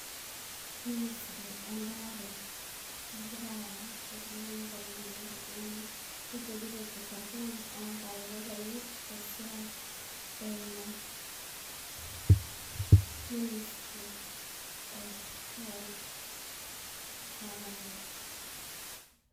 Minisiri embaare nagira Aya iltung'anak oleng' ake iltung'anak, keigerito ilkitarrin ong'aretok enye te siai eimu minisiri e health coverage